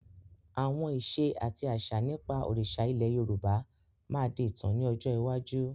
Àwọn ìṣe àti àṣà nípa òrìṣà ilẹ̀ Yorùbá máa di ìtàn ni ọjọ́ iwájú.